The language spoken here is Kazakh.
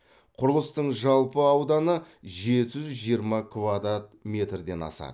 құрылыстың жалпы ауданы жеті жүз жиырма квадрат метрден асады